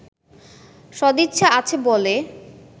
সদিচ্ছা আছে বলে